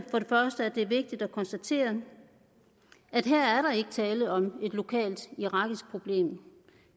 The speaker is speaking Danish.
det er vigtigt at konstatere at her er der ikke tale om et lokalt irakisk problem